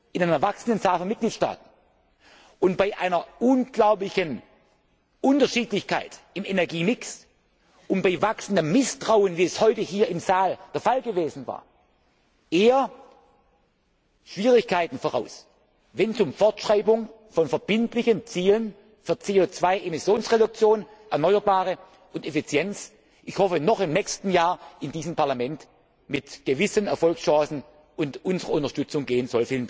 in einer wachsenden Zahl von Mitgliedstaaten und bei einer unglaublichen Unterschiedlichkeit im Energiemix und bei wachsendem Misstrauen, wie es heute hier im Saal zu beobachten war, eher Schwierigkeiten voraus, wenn es um die Fortschreibung von verbindlichen Zielen zu CO 2 Emissionsreduktionen, erneuerbaren Energien und Effizienz ich hoffe noch im nächsten Jahr in diesem Parlament mit gewissen Erfolgschancen und unserer Unterstützung